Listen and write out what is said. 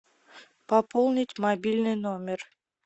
пополнить мобильный номер